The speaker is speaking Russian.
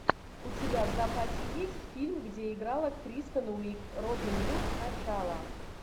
у тебя в запасе есть фильм где играла кристен уиг робин гуд начало